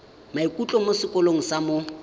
moithuti mo sekolong sa mo